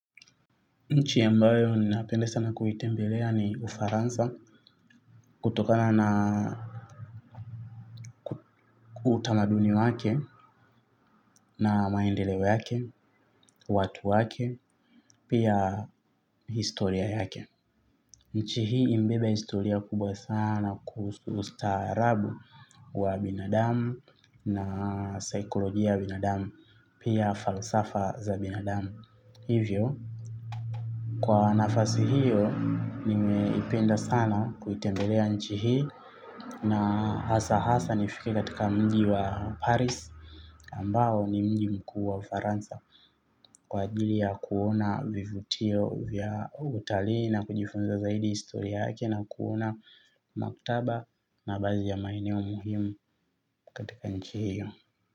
Nchi ambayo ninapende sana kuitembelea ni Ufaransa kutokana na utamaduni wake na maendeleo yake, watu wake, pia historia yake. Nchi hii imebeba historia kubwa sana kuhusu ustaarabu wa binadamu na saikolojia ya binadamu, pia falsafa za binadamu. Hivyo. Kwa nafasi hiyo nimeipenda sana kuitembelea nchi hii na hasa hasa nifike katika mji wa paris ambao ni mji mkuu wa Ufaransa kwa ajili ya kuona vivutio vya utalii na kujifunza zaidi historia hake na kuona maktaba na baadhi ya maeneo muhimu katika nchi hiyo.